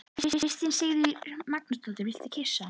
Kristín Sigríður Magnúsdóttir: Viltu kyssa hann?